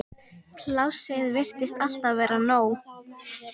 Plássið virtist alltaf vera nóg.